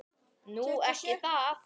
Nú. ekki það?